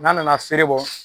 N'a nana feere bɔ